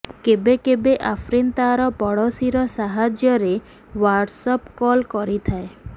କେବେ କେବେ ଆଫ୍ରିନ୍ ତାର ପଡୋଶୀର ସାହାଯ୍ୟରେ ହ୍ବାଟସ୍ ଆପ୍ କଲ୍ କରିଥାଏ